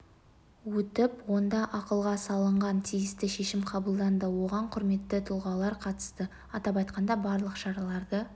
өтіп онда ақылға салынған тиісті шешім қабылданды оған құрметті тұлғалар қатысты атап айтқанда барлық шараларды